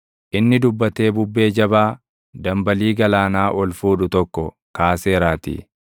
Inni dubbatee bubbee jabaa dambalii galaanaa ol fuudhu tokko kaaseeraatii.